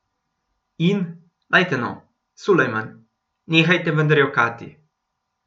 In, dajte no, Sulejman, nehajte vendar jokati.